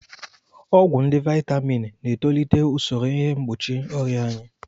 Ọgwụ ndị Vaitamin na-etolite usoro ihe mgbochi ọrịa anyị.